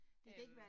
Øh